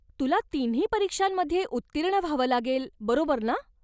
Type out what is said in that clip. तुला तिन्ही परीक्षांमध्ये उत्तीर्ण व्हावं लागेल, बरोबर ना?